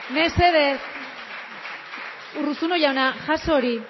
mesedez urruzulo jauna jaso hori